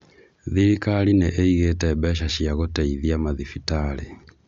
Thirikari nīīgīte mbeca cia gũteithia mathibitarĩ